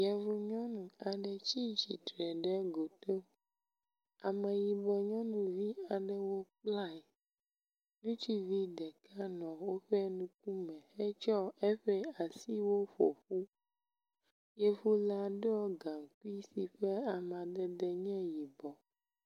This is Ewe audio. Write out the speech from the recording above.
Yevu nyɔnu aɖe tsi tsitre ɖe goto, ameyibɔ nyɔnuvi aɖewo kplae, ŋutsuvi ɖeka nɔ woƒe nukume hetsɔ eƒe asiwo ƒo ƒu. Yevu la ɖɔ gaŋkui si ke ama ɖe ɖɔ nɛ wòbɔ.